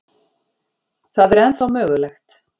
Það er ennþá mögulegt.